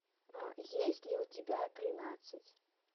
есть ли у тебя тринадцать